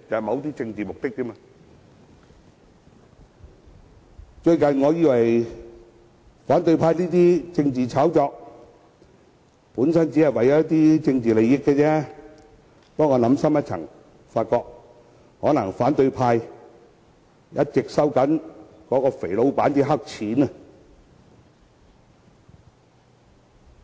我原本以為反對派這些政治炒作只是為了一些政治利益，但我想深一層，便發覺可能是由於反對派一直在收取那位"肥老闆"的黑錢，